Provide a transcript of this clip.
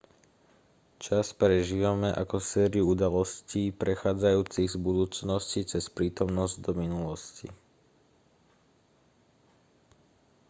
čas prežívame ako sériu udalostí prechádzajúcich z budúcnosti cez prítomnosť do minulosti